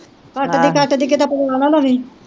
ਕੱਟਦੀ ਕੱਟਦੀ ਕਿਤੇ ਪਵਾ ਨਾ ਲਵੀਂ